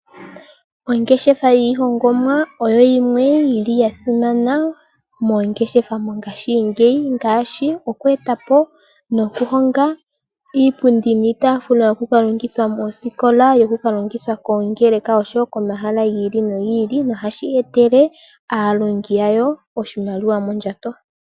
Ongeshefa yiihongomwa oyo yimwe yili ya simana moongeshefa mongashi ngeyi, ngaashi okweetapo nokuhonga iipundi niitafula yokulongitha moosikola, yoku kalongitha koongeleka oshowo ko mahala gi ili nogi ili. No hashi etele aalongi yawo oshimaliwa mondjato.